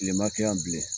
Kilema kɛ yan bilen